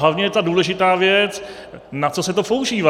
Hlavní je ta důležitá věc, na co se to používá.